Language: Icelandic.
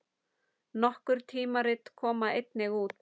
Nokkur tímarit koma einnig út.